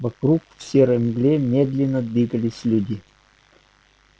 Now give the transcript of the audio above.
вокруг в серой мгле медленно двигались люди